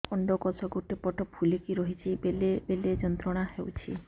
ଅଣ୍ଡକୋଷ ଗୋଟେ ପଟ ଫୁଲିକି ରହଛି ବେଳେ ବେଳେ ଯନ୍ତ୍ରଣା ହେଉଛି